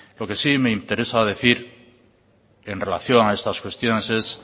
lo que sí me interesa decir en relación a estas cuestiones es